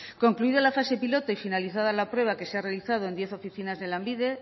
concluida la fase piloto y finalizada la prueba que se ha realizado en diez oficinas de lanbide